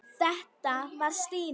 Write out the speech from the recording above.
Þetta var Stína.